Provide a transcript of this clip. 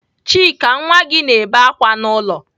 Chika nwa gi na-ebe akwa n'ulo.